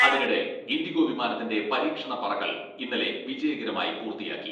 അതിനിടെ ഇൻഡിഗോ വിമാനത്തിന്റെ പരീക്ഷണ പറക്കൽ ഇന്നലെ വിജയകരമായി പൂർത്തിയാക്കി.